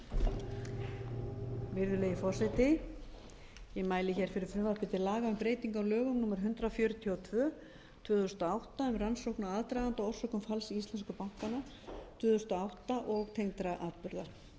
mæli fyrir frumvarpi til laga um breytingu á lögum númer hundrað fjörutíu og tvö tvö þúsund og átta um rannsókn á aðdraganda og orsökum falls íslensku bankanna tvö þúsund og átta og tengdra atburða frumvarp þetta